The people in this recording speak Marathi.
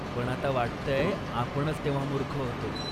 पण आता वाटतंय आपणच तेव्हा मूर्ख होतो.